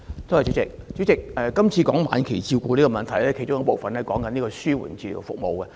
主席，今次談到晚期病人的問題，其中一部分涉及紓緩治療服務。